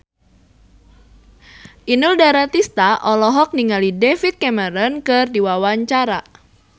Inul Daratista olohok ningali David Cameron keur diwawancara